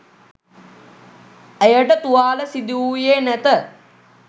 ඇයට තුවාල සිදු වුයේ නැත